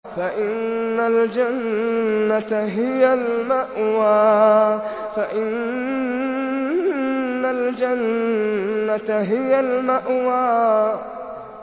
فَإِنَّ الْجَنَّةَ هِيَ الْمَأْوَىٰ